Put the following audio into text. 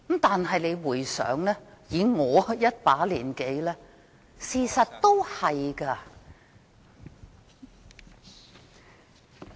但是，以我一把年紀，事實的確是這樣。